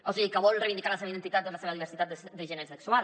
o sigui que vol reivindicar la seva identitat o la seva diversitat de gènere sexual